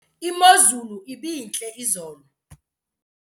Imozulu ibintle izolo.